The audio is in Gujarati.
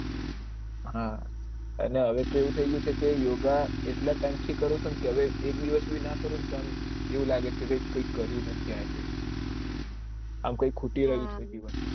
હા અને હવે કેવું થઇ ગયું છે કે યોગા એટલા ટાઇમ થી કરું છુ તો હવે એક દિવસ ભી ના કરું તો એવું લાગે છે કે કાયિક કર્યું નહિ આજે એમ કઈ ખૂટ્યું એવું સ્થીથી